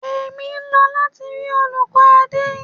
Èmi ń lọ láti rí olùkọ́ Adé.